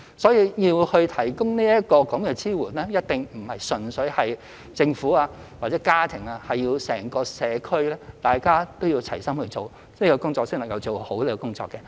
所以，要提供這支援，一定不是純粹由政府或家庭，而是整個社區大家都要齊心做，這工作才能做好。